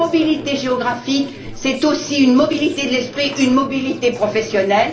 La mobilité géographique est aussi une mobilité de l'esprit, une mobilité professionnelle.